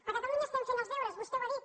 a catalunya estem fent els deures vostè ho ha dit